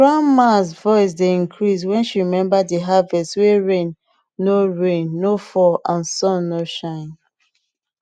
grandmas voice dey increase when she remember de harvest wey rain no rain no fall and sun no shine